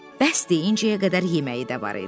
Bəsdir indiçəyə qədər yeməyi də var idi.